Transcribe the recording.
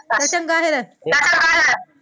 ਚੱਲ ਚੰਗਾ ਫਿਰ